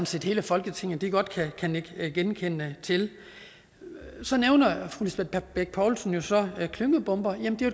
set hele folketinget kan nikke genkendende til så nævner fru lisbeth bech poulsen jo så klyngebomber jamen det er